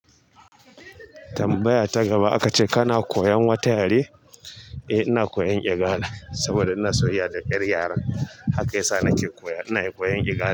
Tambaya ta gaba aka ce kana koyan wata yare? Eh ina koyan Igala saboda ina soyayya da 'yar yaren haka ya sa na ke koya, ina koyan Igala.